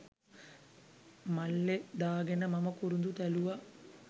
මල්ලෙ දාගෙන මම කුරුදු තැළුවා.